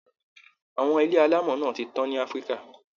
A`wọn ilé alámọ̀ náà ti tán ní Africa